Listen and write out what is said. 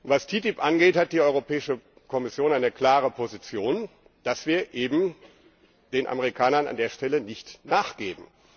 Was die TTIP angeht, hat die Europäische Kommission eine klare Position, dass wir eben den Amerikanern an der Stelle nicht nachgeben.